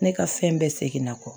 Ne ka fɛn bɛɛ seginna kɔ